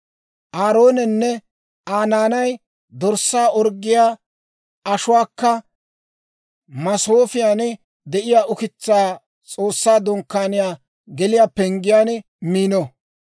Aaroonenne Aa naanay dorssaa orggiyaa ashuwaakka masoofiyaan de'iyaa ukitsaa S'oossaa Dunkkaaniyaa geliyaa penggiyaan miino.